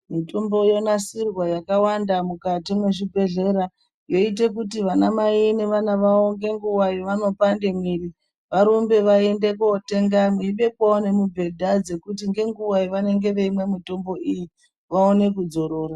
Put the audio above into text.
Mitombo yo nasirwa yaka wanda mukati mwe zvibhedhlera yoite kuti vana mai ne vana vavo nge nguva yavano pande mwiri varumbe vaende kotenga vei bekwawo ne mubhedha dzekuti ne nguva yavanenge vei mwe mutombo iyi vaone ku dzorora.